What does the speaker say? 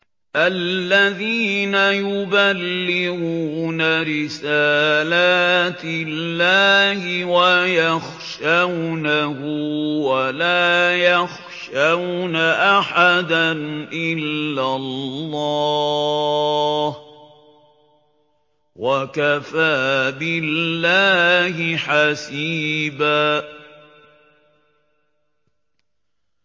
الَّذِينَ يُبَلِّغُونَ رِسَالَاتِ اللَّهِ وَيَخْشَوْنَهُ وَلَا يَخْشَوْنَ أَحَدًا إِلَّا اللَّهَ ۗ وَكَفَىٰ بِاللَّهِ حَسِيبًا